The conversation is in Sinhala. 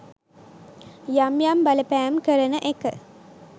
යම් යම් බලපෑම් කරන එක